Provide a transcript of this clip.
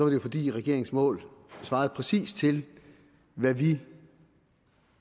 det fordi regeringens mål svarede præcis til hvad vi